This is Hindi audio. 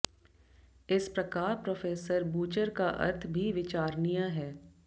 इसी प्रकार प्रो॰ बूचर का अर्थ भी विचारणीय है